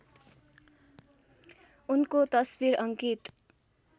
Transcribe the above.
उनको तस्बिर अङ्कित